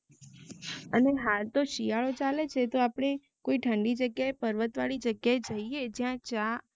અને હાતો શિયારો ચાલે છે તો આપને કોય ઠંડી જગ્યાએ પર્વત વારી જગ્યાએ જઇએ જ્યા ચા